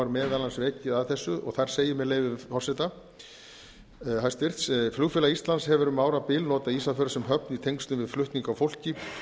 meðal annars vikið að þessu og þar segir með leyfi hæstvirts forseta flugfélag íslands hefur um árabil notað ísafjörð sem höfn í tengslum við flutning á fólki og